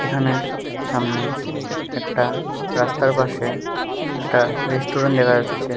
এখানে সামনে একটা রাস্তার পাশে একটা রেস্টুরেন্ট দেখা যাচ্ছে।